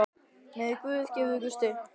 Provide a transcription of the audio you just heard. Megi Guð gefa ykkur styrk.